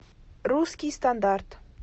русский стандарт